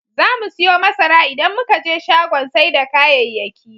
Zamu siyo masara idan muka je shagon sai da kayayyaki.